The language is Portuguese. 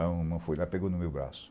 Aí o irmão foi lá e pegou no meu braço.